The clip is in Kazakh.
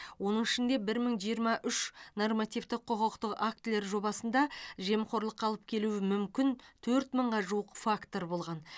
оның ішінде бір мың жиырма үш нормативті құқықтық актілер жобасында жемқорлыққа алып келуі мүмкін төрт мыңға жуық фактор болған